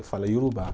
Eu falo Iorubá.